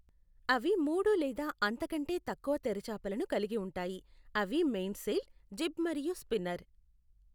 అవి మూడు లేదా అంతకంటే తక్కువ తెరచాపలను కలిగి ఉంటాయి, అవి మెయిన్ సెయిల్, జిబ్ మరియు స్పిన్నర్.